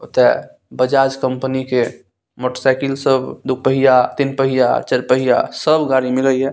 ओते बजाज कंपनी के motor cycle सब दू पहिया तीन पहिया चार पहिया सब गाड़ी मिलय ये।